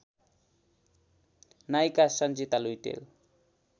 नायिका सन्जिता लुइटेल